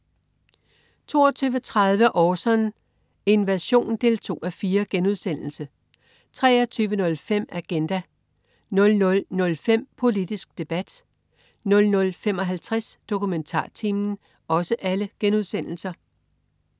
22.30 Orson: Invasion 2:4* 23.05 Agenda* 00.05 Politisk debat* 00.55 DokumentarTimen*